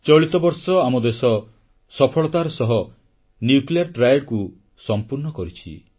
ଚଳିତ ବର୍ଷ ଆମ ଦେଶ ସଫଳତାର ସହ ନ୍ୟୁକ୍ଲିୟର ଟ୍ରାଏଡ୍ ବା ତ୍ରିମୁଖୀ ପରମାଣୁ ପ୍ରତିରୋଧି ସାମରିକ କ୍ଷମତାକୁ ସମ୍ପୂର୍ଣ୍ଣ କରିଛି